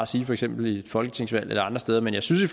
sige for eksempel i et folketingsvalg eller andre steder men jeg synes i